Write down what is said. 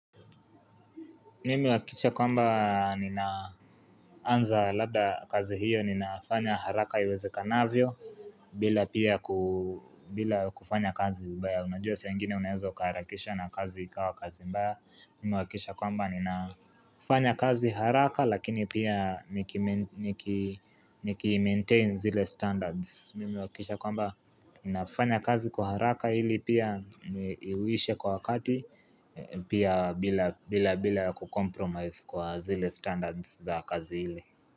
Mimewakisha kwamba ninaanza labda kazi hiyo ninafanya haraka iweze kanavyo bila pia kufanya kazi mbaya unajua saa ingine unaeza uka harakisha na kazi ikawa kazi mbaya Mimewakisha kwamba ninafanya kazi haraka lakini pia nikimaintain zile standards Mimi uakikisha kwamba ninafanya kazi kwa haraka hili pia iwishe kwa wakati Pia bila bila kukompromise kwa zile standards za kazi hile.